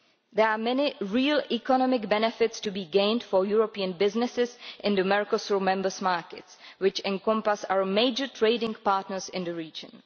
There are many real economic benefits to be gained for European businesses in the Mercosur members' markets, which encompass our major trading partners in the region.